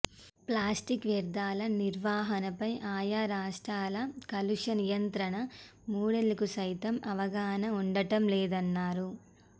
plastic వ్యర్దాల నిర్వహణపై ఆయా రాష్ట్రాల కాలుష్య నియంత్రణ మండళ్లకుసైతం అవగాహన ఉండటంలేదన్నారు